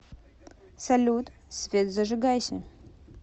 салют свет зажигайся